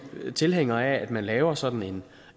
tilhængere af at man laver sådan